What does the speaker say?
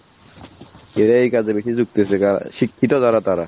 এবার এই কাজে বেশি যুক্ত হচ্ছে যারা শিক্ষিত যারা তারা